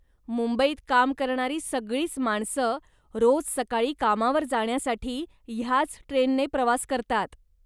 मुंबईत काम करणारी सगळीच माणसं, रोज सकाळी कामावर जाण्यासाठी ह्याच ट्रेनने प्रवास करतात.